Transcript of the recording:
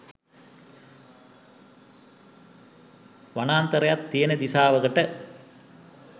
වනාන්තරයක් තියෙන දිශාවකට.